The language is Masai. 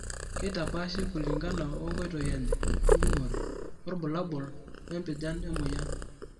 Keitapaashi kulingana wonkoitoi enye enjung'ore, orbulabol, wempijan emoyian.